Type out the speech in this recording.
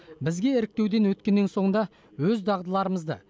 бізге іріктеуден өткеннен соң да өз дағдыларымызды